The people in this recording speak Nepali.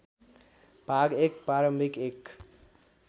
भाग १ प्रारम्भिक १